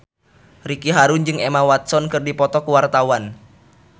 Ricky Harun jeung Emma Watson keur dipoto ku wartawan